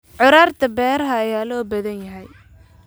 curaarta beeraha ayaa loo baahan yahay.